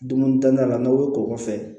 Dumunitanya la n'aw ye kɔgɔ fɛ